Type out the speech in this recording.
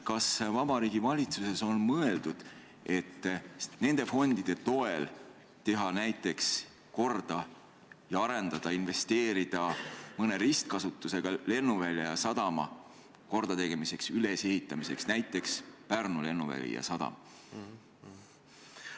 Kas Vabariigi Valitsuses on mõeldud, et nende fondide toel näiteks investeerida mõne ristkasutusega lennuvälja ja sadama kordategemisse ja ülesehitamisse, näiteks Pärnu lennuväli ja sadam?